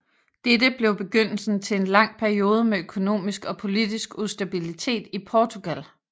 Dette blev begyndelsen til en lang periode med økonomisk og politisk ustabilitet i Portugal